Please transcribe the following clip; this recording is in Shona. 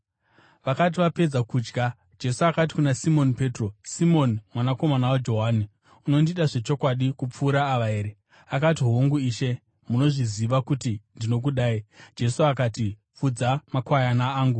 Vakati vapedza kudya, Jesu akati kuna Simoni Petro, “Simoni mwanakomana waJohani, unondida zvechokwadi kupfuura ava here?” Akati, “Hongu, Ishe, munozviziva kuti ndinokudai.” Jesu akati, “Fudza makwayana angu.”